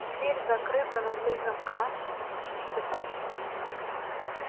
дверь закрыта на три замка и цепочку